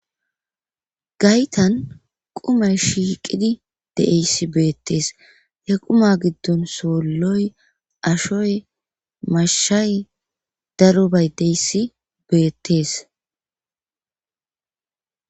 gaytan qumay shiiqidi de7eyssi beettees ye quma giddon soolloy ashoy mashshay darubay deyssi beettes